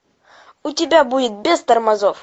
у тебя будет без тормозов